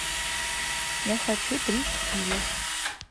я хочу три киви